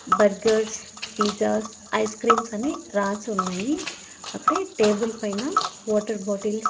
Burgers pizzas ice creams అని రాసి ఉన్నాయి అక్కడే టేబుల్ పైన వాటర్ బాటిల్స్ .